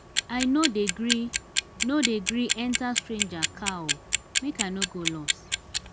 i no dey gree no dey gree enta strager car o. make i no go loss.